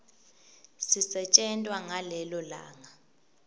sisetjentwa ngalelo langa